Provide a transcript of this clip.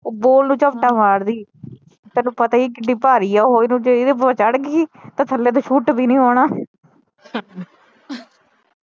ਉਹ ਬਾਲ ਨੂੰ ਜਪਟਾ ਮਾਰਦੀ ਤੈਨੂੰ ਪਤਾ ਈਆ ਕਿਡੀ ਭਾਰੀ ਉਹ ਇਹਨੂੰ ਜੇ ਇਹਦੇ ਉੱਤੇ ਚੜ੍ਹ ਗਈ ਤੇ ਥੱਲੇ ਤਾ ਸੁੱਟ ਵੀ ਨਹੀਂ ਹੋਣਾ